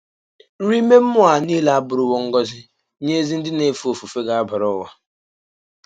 Nrì ime mmụọ a niile abùrùwò ngọzi nye ezi ndị na-èfè ọ̀fùfè gàbàrà ụwa.